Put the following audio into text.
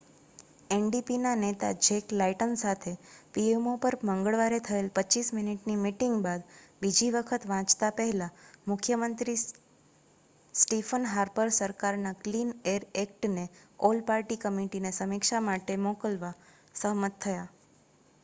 ndpના નેતા Jack Layton સાથે pmo પર મંગળવારે થયેલ 25 મિનિટની મિટિંગ બાદ બીજી વખત વાંચતાં પહેલા મુખ્ય મંત્રી સ્ટીફન હાર્પર સરકારના 'ક્લીન એર એક્ટ'ને ઓલ પાર્ટી કમિટીને સમીક્ષા માટે મોકલવા સહમત થયા